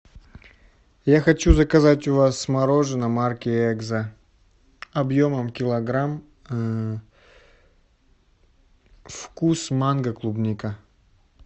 я хочу заказать у вас мороженое марки экзо объемом килограмм вкус манго клубника